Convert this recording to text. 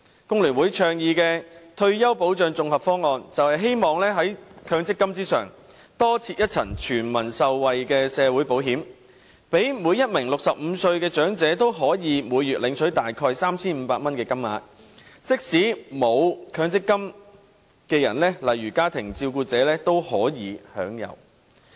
工聯會倡議的退休保障綜合方案，便是希望在強積金之上，多設一層全民受惠的社會保險，讓每名65歲的長者均可以每月領取大約 3,500 元的金額，即使沒有強積金的人，例如家庭照顧者也可享有。